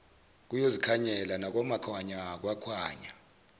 kuyozikhanyela nakwamakhanya kwakhanya